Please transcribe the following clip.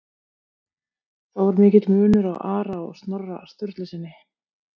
Þó er mikill munur á Ara og Snorra Sturlusyni.